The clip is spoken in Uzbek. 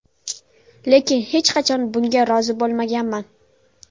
Lekin hech qachon bunga rozi bo‘lmaganman.